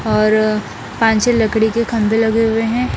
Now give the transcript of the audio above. और पांच छह लकड़ी के खम्बे लगे हुए हैं ।